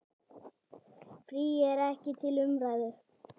Frí er ekki til umræðu.